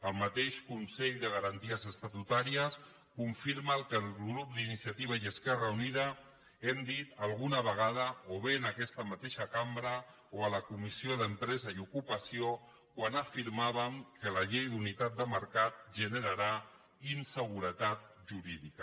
el mateix consell de garanties estatutàries confirma el que el grup d’iniciativa i esquerra unida hem dit alguna vegada o bé en aquesta mateixa cambra o a la comissió d’empresa i ocupació quan afirmàvem que la llei d’unitat de mercat generarà inseguretat jurídica